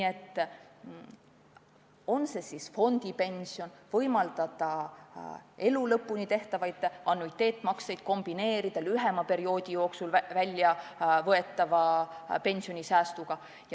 See oleks siis fondipension, mis võimaldaks elu lõpuni tehtavaid annuiteetmakseid kombineerida lühema perioodi jooksul väljavõetava pensionisäästuga.